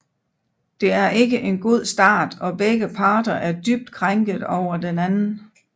Det er ikke en god start og begge parter er dybt krænket over den anden